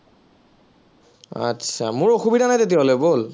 আচ্ছা, মোৰ অসুবিধা নাই তেতিয়া হলে বল